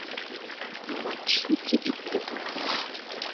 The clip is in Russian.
матч сити и тоттенхэма